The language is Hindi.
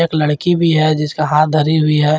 लड़की भी है जिसका हाथ धरी हुई है।